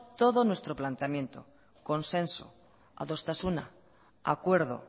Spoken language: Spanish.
todo nuestro planteamiento consenso adostasuna acuerdo